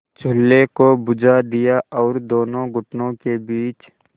चूल्हे को बुझा दिया और दोनों घुटनों के बीच